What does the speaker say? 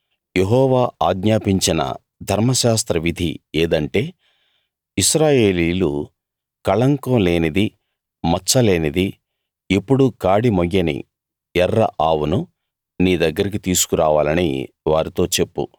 యెహోవా ఆజ్ఞాపించిన ధర్మశాస్త్ర విధి ఏదంటే ఇశ్రాయేలీయులు కళంకం లేనిదీ మచ్చ లేనిదీ ఎప్పుడూ కాడి మోయ్యని ఎర్ర ఆవును నీ దగ్గరికి తీసుకురావాలని వారితో చెప్పు